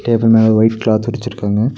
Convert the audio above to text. Table மேல white cloth விரிச்சிருக்காங்க.